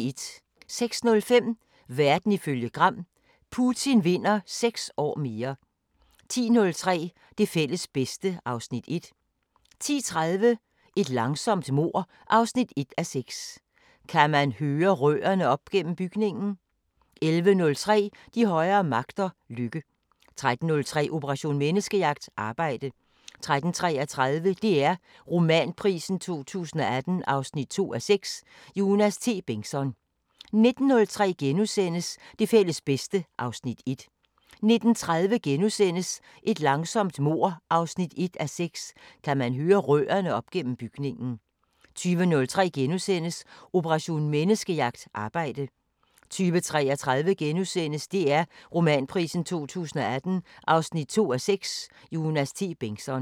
06:05: Verden ifølge Gram: Putin vinder 6 år mere 10:03: Det fælles bedste (Afs. 1) 10:30: Et langsomt mord 1:6 – Kan man høre rørene op gennem bygningen? 11:03: De højere magter: Lykke 13:03: Operation Menneskejagt: Arbejde 13:33: DR Romanprisen 2018 2:6 – Jonas T. Bengtsson 19:03: Det fælles bedste (Afs. 1)* 19:30: Et langsomt mord 1:6 – Kan man høre rørene op gennem bygningen? * 20:03: Operation Menneskejagt: Arbejde * 20:33: DR Romanprisen 2018 2:6 – Jonas T. Bengtsson *